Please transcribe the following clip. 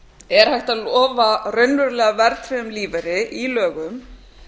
er hægt að lofa raunverulega verðtryggðum lífeyri í lögum